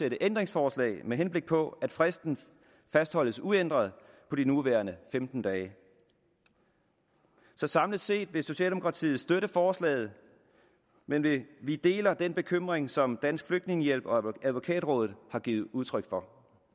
ændringsforslag med henblik på at fristen fastholdes uændret på de nuværende femten dage så samlet set vil socialdemokratiet støtte forslaget men vi vi deler den bekymring som dansk flygtningehjælp og advokatrådet har givet udtryk for